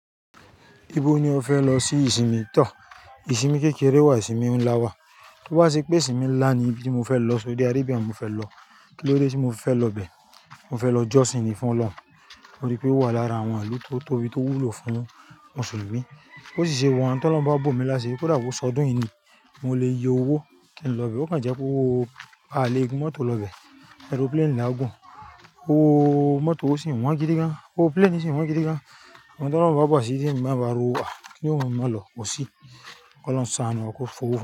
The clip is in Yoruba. Ibo ni o fẹ lọ sí ìsinmi. Tò! Ìsinmi kékeré wà, ìsinmi ńlá wà. Tí ó bá ṣe pé ìsinmi ńlá ni ibí ti mo fẹ lọ, Saudi Arabia ni mo fẹ lọ? Kín ló dé tí mo fi fẹ lọ ibẹ? Mo fẹ lọ josin ni fún Ọlọ́run, torí pé ó wà lára àwọn ìlú tó tóbi tó wúlò fún mùsùlùmí. Bó sì ṣe wà ń, tí Ọlọ́run bá bo mí lásiri, kódà bó s'ọdún yìí ni, mo le yọ owó kí n lọ bẹ́ẹ̀. Ó kan jẹ pé owó á lè gún mọ́tò lọ ibẹ, aeroplane laà gùn. Owó mọ́tò ò sì wọ́n gidi gan, owó plane sì wọ́n gidi gan. Uhn tí Ọlọ́run bá bo asiri ti mo bá rí owó, kíni ó mú mi má lọ? Kò sí. K'olohun ṣàánú wa, kó f'owó.